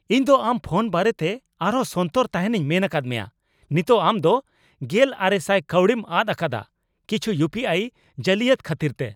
ᱤᱧ ᱫᱚ ᱟᱢ ᱯᱷᱳᱱ ᱵᱟᱨᱮᱛᱮ ᱟᱨᱦᱚᱸ ᱥᱚᱱᱛᱚᱨ ᱛᱟᱦᱮᱸᱱᱤᱧ ᱢᱮᱱ ᱟᱠᱟᱫ ᱢᱮᱭᱟ ᱾ ᱱᱤᱛᱚᱜ ᱟᱢ ᱫᱚ ᱑᱐᱐᱐᱐ ᱠᱟᱹᱣᱰᱤᱢ ᱟᱫ ᱟᱠᱟᱫᱟ ᱠᱤᱪᱷᱩ ᱤᱭᱩᱯᱤᱟᱭ ᱡᱟᱹᱞᱤᱭᱟᱛ ᱠᱷᱟᱹᱛᱤᱨᱛᱮ ᱾